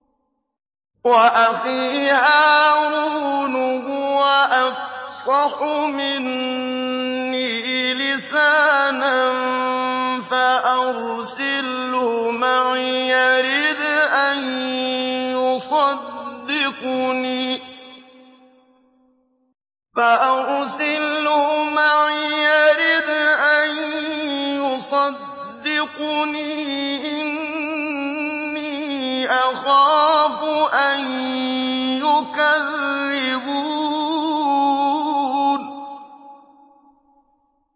وَأَخِي هَارُونُ هُوَ أَفْصَحُ مِنِّي لِسَانًا فَأَرْسِلْهُ مَعِيَ رِدْءًا يُصَدِّقُنِي ۖ إِنِّي أَخَافُ أَن يُكَذِّبُونِ